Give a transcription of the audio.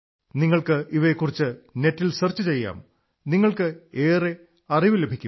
നിങ്ങൾക്ക് ഇവയെക്കുറിച്ച് നെറ്റിൽ സെർച്ച് ചെയ്യാം നിങ്ങൾക്ക് വളരെ അിറവു ലഭിക്കും